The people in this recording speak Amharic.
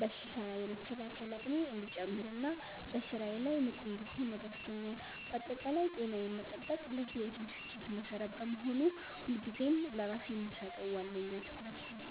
በሽታ የመከላከል አቅሜ እንዲጨምርና በስራዬ ላይ ንቁ እንድሆን ረድቶኛል። ባጠቃላይ ጤናዬን መጠበቅ ለህይወቴ ስኬት መሰረት በመሆኑ፣ ሁልጊዜም ለራሴ የምሰጠው ዋነኛ ትኩረት ነው።